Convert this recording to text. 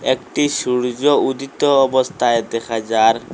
একটি সূর্য উদিত অবস্থায় দেখা যার